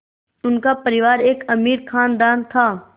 उनका परिवार एक अमीर ख़ानदान था